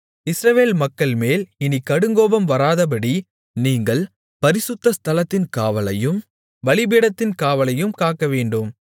இஸ்ரவேல் மக்கள்மேல் இனிக் கடுங்கோபம் வராதபடி நீங்கள் பரிசுத்த ஸ்தலத்தின் காவலையும் பலிபீடத்தின் காவலையும் காக்கவேண்டும்